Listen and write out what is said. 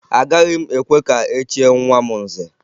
Agaghị m ekwe ka e chie nwa m nze